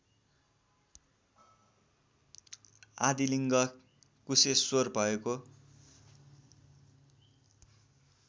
आदिलिङ्ग कुशेश्वर भएको